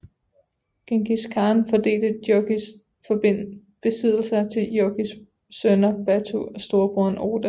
Djengis Khan fordelte Jochis besiddelser til Jochis sønner Batu og storebroren Orda